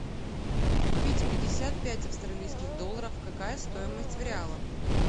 купить пятьдесят пять австралийских долларов какая стоимость в реалах